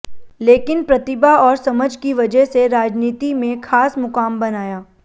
लेकिन प्रतिभा और समझ की वजह से राजनीति में खास मुकाम बनाया